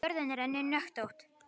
Jörðin er einnig hnöttótt.